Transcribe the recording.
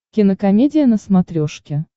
кинокомедия на смотрешке